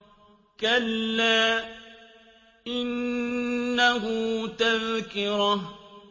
كَلَّا إِنَّهُ تَذْكِرَةٌ